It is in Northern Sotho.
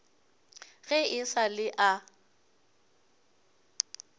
ge e sa le a